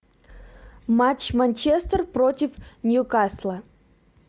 матч манчестер против ньюкасла